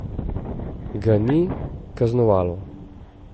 Ga ni kaznovalo.